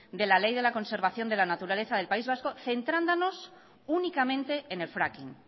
de la ley de la conservación de la naturaleza del país vasco centrándonos únicamente en el fracking